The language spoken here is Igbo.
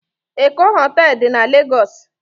Eko hotelu di na Legosi